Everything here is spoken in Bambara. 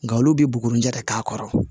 Nga olu bi bugunjɛ ka k'a kɔrɔ